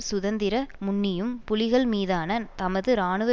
சுதந்திர முன்ணியும் புலிகள் மீதான தமது இராணுவ